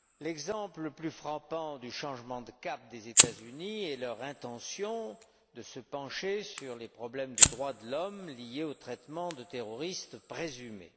L'exemple le plus frappant du changement de cap des États Unis est leur intention de se pencher sur les problèmes des droits de l'homme liés au traitement de terroristes présumés.